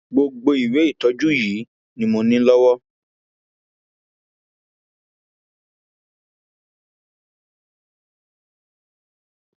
gbogbo ìwé ìtọjú yìí ni mo ní lọwọ